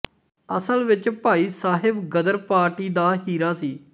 ਅਸਲ ਵਿੱਚ ਭਾਈ ਸਾਹਿਬ ਗ਼ਦਰ ਪਾਰਟੀ ਦਾ ਹੀਰਾ ਸੀ